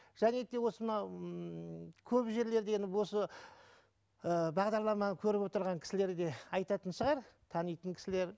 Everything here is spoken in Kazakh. және де осы мынау ммм көп жерлерде енді осы ы бағдарламаны көріп отырған кісілер де айтатын шығар танитын кісілер